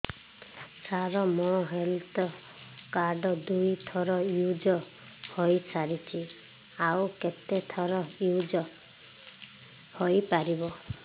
ସାର ମୋ health card ଦୁଇ ଥର ୟୁଜ଼ ହୈ ସାରିଛି ଆଉ କେତେ ଥର ୟୁଜ଼ ହୈ ପାରିବ